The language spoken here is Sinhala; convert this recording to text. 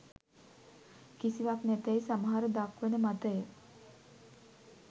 කිසිවක් නැතැයි සමහර දක්වන මතය